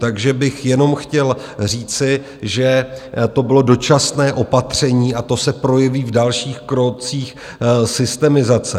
Takže bych jenom chtěl říci, že to bylo dočasné opatření, a to se projeví v dalších krocích systemizace.